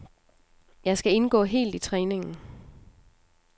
Jeg skal indgå helt i træningen.